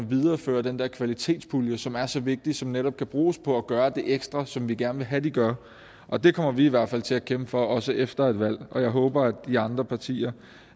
videreføre den der kvalitetspulje som er så vigtig og som netop kan bruges på at gøre det ekstra som vi gerne vil have de gør og det kommer vi i hvert fald til at kæmpe for også efter et valg jeg håber de andre partier